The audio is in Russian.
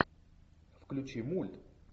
включи мульт